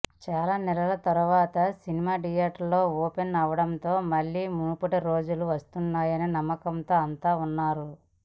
చాలా నెలల తర్వాత సినిమా థియేటర్లు ఓపెన్ అవ్వడంతో మళ్లీ మునుపటి రోజులు వస్తాయనే నమ్మకంతో అంతా ఉన్నారు